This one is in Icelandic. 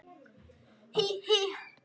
Hí, hí.